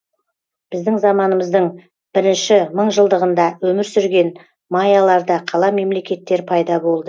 біздің заманымыздың бірінші мыңжылдығында өмір сүрген майяларда қала мемлекеттер пайда болды